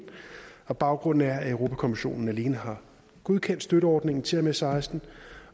og baggrunden er at europa kommissionen alene har godkendt støtteordningen til og med seksten